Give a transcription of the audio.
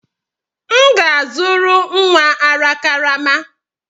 M ga-azụrụ nwa ara karama.